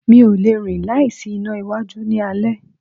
Mi o lẹ̀ rín láì sí iná iwájú ní alé.